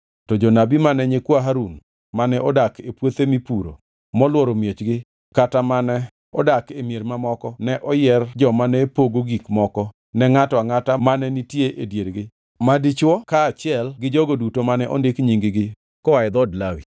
To jonabi mane nyikwa Harun mane odak e puothe mipuro molworo miechgi kata mane odak e mier mamoko ne oyier joma ne pogo gik moko ne ngʼato angʼata mane nitie e diergi ma dichwo kaachiel gi jogo duto mane ondik nying-gi koa e dhood Lawi.